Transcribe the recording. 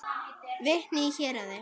Vitni í héraði.